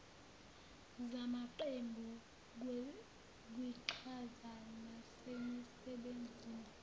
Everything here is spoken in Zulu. zamaqembu kwiqhaza nasemisebenzini